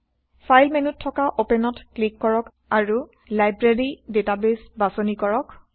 file মেন্যুত থকা অপেনত ক্লিক কৰক আৰু লাইব্ৰেৰী ডেটাবেইছ বাচনি কৰক